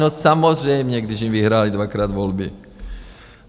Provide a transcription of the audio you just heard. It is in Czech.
No samozřejmě, když jim vyhrály dvakrát volby!